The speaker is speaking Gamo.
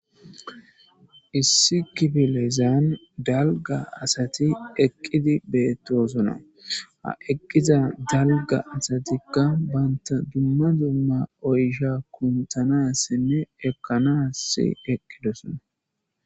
Issi kifilezan dalga asati eqqidi beettosona ha eqqiza dalga asatikka banta dumma dumma oysha kuntanassinne ekkanass eqqidosona.